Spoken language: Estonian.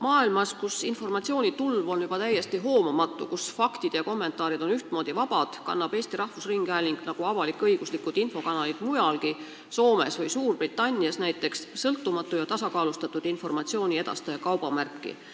Maailmas, kus informatsioonitulv on juba täiesti hoomamatu, kus faktide ja kommentaaridega käiakse ühtmoodi vabalt ringi, kannab Eesti Rahvusringhääling nagu avalik-õiguslikud infokanalid mujalgi, näiteks Soomes ja Suurbritannias, sõltumatu ja tasakaalustatud informatsiooni edastaja kaubamärki.